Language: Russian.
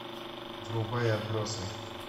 врубай отбросы